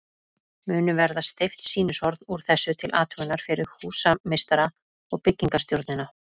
Munu verða steypt sýnishorn úr þessu til athugunar fyrir húsameistara og byggingarstjórnina.